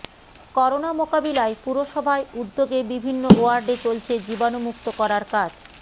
corona মোকাবিলায় পুরসভায় উদ্যোগে বিভিন্ন ওয়ার্ডে চলছে জীবাণুমুক্ত করার কাজ